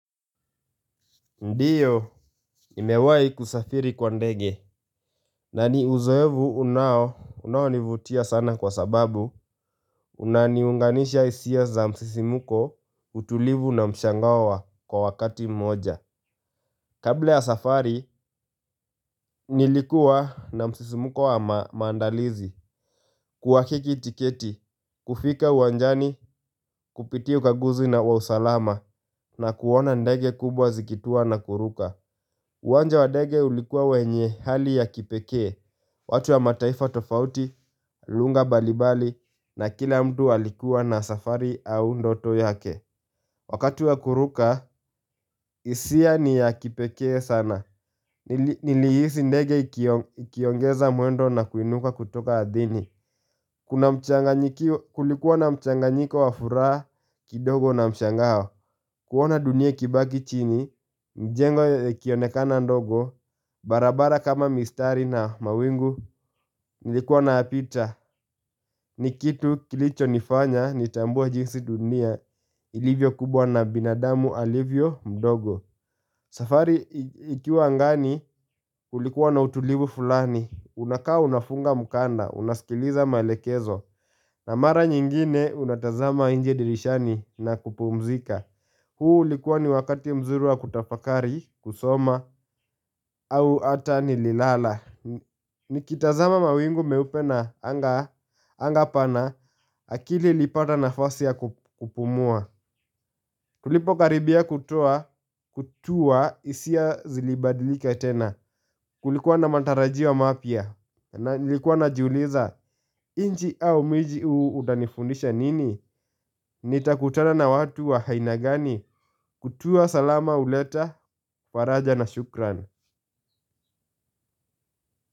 Ndio, nimewai kusafiri kwa ndege. Naniuzoevu unao, unaonivutia sana kwa sababu, unaniunganisha hisia za msisimko, utulivu na mshangawa kwa wakati mmoja. Kabla ya safari, nilikua na msisimuko wa maandalizi, kuwakiki tiketi, kufika uwanjani, kupitia ukaguzi na wa usalama, na kuona ndege kubwa zikituwa na kuruka. Uwanja wa dege ulikuwa wenye hali ya kipekee, watu wa mataifa tofauti, lugha mbalimbali na kila mtu alikuwa na safari au ndoto yake. Wakati wa kuruka, hisia niya kipekee sana. Nilihisi ndege ikiongeza mwendo na kuinuka kutoka adhini. Kulikuwa na mchanganyiko wa furaha kidogo na mshangao kuona dunia ikibaki chini, mijengo ikionekana ndogo barabara kama mistari na mawingu Nilikuwa napita, nikitu kilicho nifanya nitambue jinsi dunia, ilivyo kubwa na binadamu alivyo mdogo safari ikiwa ngani kulikuwa na utulivu fulani unakaa unafunga mukanda, unasikiliza malekezo na mara nyingine unatazama inje dirishani na kupumzika huu ulikuwa ni wakati mzuru wa kutafakari, kusoma, au ata ni lilala Nikitazama mawingu meupe na anga pana, akili ilipata nafasi ya kupumua Tulipokaribia kutua hisia zilibadilika tena Kulikuwa na matarajio wa mapya na nilikuwa najuuliza, nchi au miji uu utanifundisha nini? Nitakutana na watu wa haina gani kutua salama huleta, faraja na shukran.